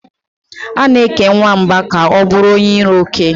A na-eke nwamba ka ọ bụrụ onye iro oke.